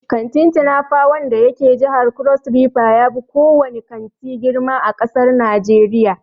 Kantin "Tinapa" wanda yake jihar Crossriver yafi ko wane kanti girma a ƙasar Najeriya.